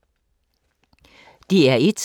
DR1